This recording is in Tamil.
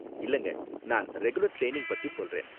இல்லங்க, நான் ரெகுலர் ட்ரைனிங் பத்தி சொல்றேன்.